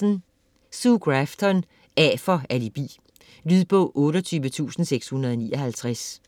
Grafton, Sue: A for alibi Lydbog 28659